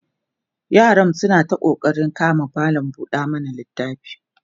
yaram suna ta ƙoƙarin kama malam buɗe littafi